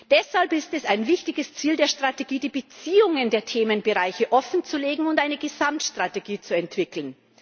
Deshalb ist es ein wichtiges Ziel der Strategie, die Beziehungen der Themenbereiche offenzulegen und eine Gesamtstrategie zu entwickeln.